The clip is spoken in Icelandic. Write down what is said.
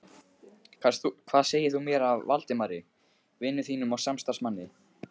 Hvað segir þú mér af Valdimari vini þínum og samstarfsmanni?